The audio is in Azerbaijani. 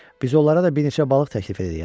Biz onlara da bir neçə balıq təklif edərik.